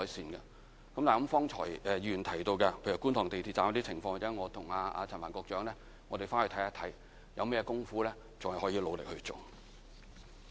至於方才議員提到，在觀塘地鐵站的情況，我或者稍後與陳帆局長看看有甚麼地方可再努力去做。